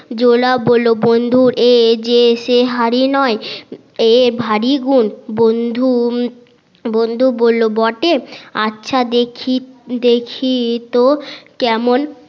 জোলা বললো এ যে সে হাড়ি নয় এর ভারি গুন বন্ধু বন্ধু বললো বটে আচ্ছা দেখিত কেমন